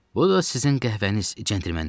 Bu da sizin qəhvəniz, cəntlemenlər.